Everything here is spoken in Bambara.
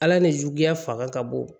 Ala ni juguya fanga ka bon